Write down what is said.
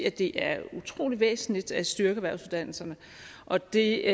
at det er utrolig væsentligt at styrke erhvervsuddannelserne og det